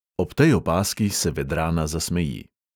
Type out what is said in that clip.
Ob tej opazki se vedrana zasmeji.